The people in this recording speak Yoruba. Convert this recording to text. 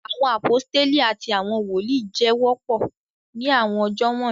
Awọn aposteli ati awọn woli jẹ wọpọ ni awọn ọjọ wọnyi